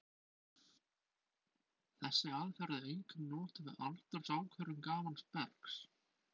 Þessi aðferð er einkum notuð við aldursákvörðun gamals bergs.